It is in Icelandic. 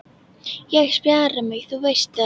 Ég spjara mig, þú veist það